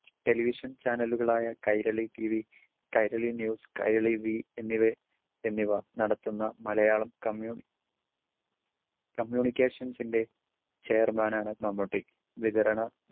Television ചാനലുകളായ Kairali TV, Kairali news, Kairali we എന്നിവ നടത്തുന്ന മലയാളം communi~ communications ൻ്റെ ചെയർമാനാണ് മമ്മൂട്ടി. വിതരണ